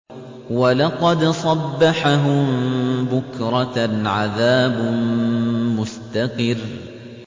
وَلَقَدْ صَبَّحَهُم بُكْرَةً عَذَابٌ مُّسْتَقِرٌّ